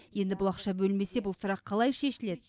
енді ақша бөлінбесе бұл сұрақ қалай шешіледі